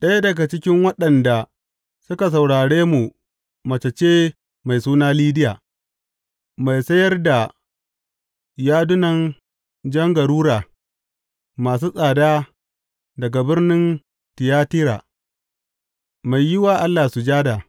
Ɗaya daga cikin waɗanda suka saurare mu mace ce mai suna Lidiya, mai sayar da yadunan jan garura masu tsada daga birnin Tiyatira, mai yi wa Allah sujada.